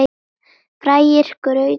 Færir graut að munni.